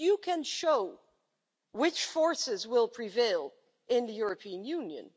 You can show which forces will prevail in the European Union.